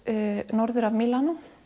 norður af Mílanó